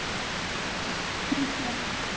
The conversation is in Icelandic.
Hún sér það.